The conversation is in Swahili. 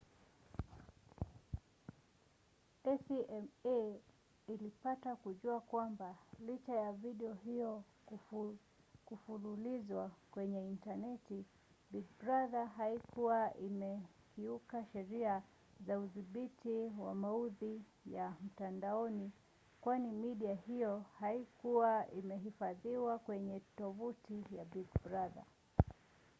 acma ilipata kujua kwamba licha ya video hiyo kufululizwa kwenye intaneti big brother haikuwa imekiuka sheria za udhibiti wa maudhui ya mtandaoni kwani midia hiyo haikuwa imehifadhiwa kwenye tovuti ya big brother